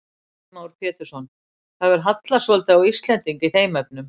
Heimir Már Pétursson: Það hefur hallað svolítið á Íslendinga í þeim efnum?